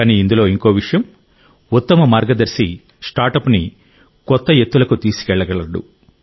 కానీ ఇందులో ఇంకో విషయం ఉత్తమ మార్గదర్శి స్టార్టప్ని కొత్త ఎత్తులకు తీసుకెళ్లగలడు